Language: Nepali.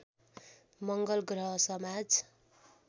मङ्गल ग्रह समाज